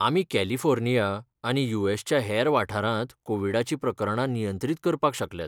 आमी कॅलिफोर्निया आनी यू.एस. च्या हेर वाठारांत कोविडाची प्रकरणां नियंत्रीत करपाक शकल्यात.